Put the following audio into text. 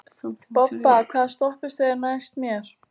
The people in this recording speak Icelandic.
Bobba, hvaða stoppistöð er næst mér?